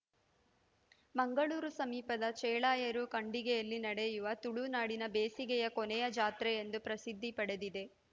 ಮಂಗಳೂರು ಸಮೀಪದ ಚೇಳಾಯರು ಖಂಡಿಗೆಯಲ್ಲಿ ನಡೆಯುವುದು ತುಳುನಾಡಿನ ಬೇಸಿಗೆಯ ಕೊನೆಯ ಜಾತ್ರೆ ಎಂದು ಪ್ರಸಿದ್ಧಿ ಪಡೆದಿದೆ